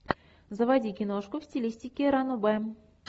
заводи киношку в стилистике ранобэ